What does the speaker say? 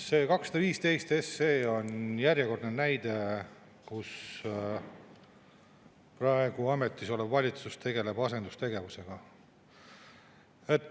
See 215 SE on järjekordne näide sellest, kuidas praegu ametis olev valitsus tegeleb asendustegevusega.